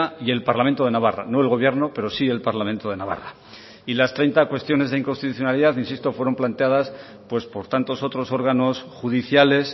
y el parlamento de navarra no el gobierno pero sí el parlamento de navarra y las treinta cuestiones de inconstitucionalidad insisto fueron planteadas pues por tantos otros órganos judiciales